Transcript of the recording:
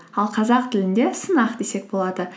ал қазақ тілінде сынақ десек болады